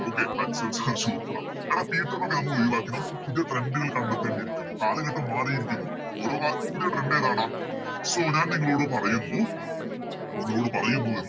Okay Ashwin Sir super ആ എടാ പീറ്ററിനെ ഒക്കെ നമ്മളൊഴിവാക്കി നമ്മള് പുതിയ Trend കൾ കണ്ടെത്തേണ്ടിരിക്കുന്നു കാലഘട്ടം മാറിയിരിക്കുന്നു ഓരോ കാലത്തും പുതിയ Trend കളാണ് ഏതാടാ So ഞാൻ നിങ്ങളോട് പറയുന്നു നിങ്ങളോട് പറയുന്നു എന്ത്